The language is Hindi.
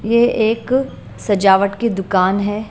ये एक सजावट की दुकान है।